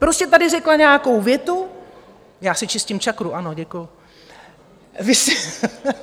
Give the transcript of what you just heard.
Prostě tady řekla nějakou větu - Já si čistím čakru, ano, děkuju.